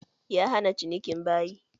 Ya hana cinikin bayi.